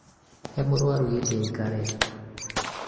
he mũrũaru gĩtĩ aikarĩre